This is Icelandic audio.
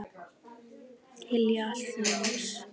Hylja allt ljós.